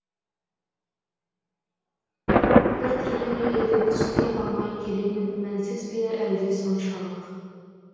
біртүрлі ме еді түсіне алмай келемін мәнсіз бе әлде соншалық